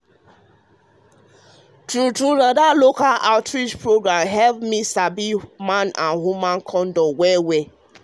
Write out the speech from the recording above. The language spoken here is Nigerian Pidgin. true true na dat local outreach program help me sabi man with woman kondom well well.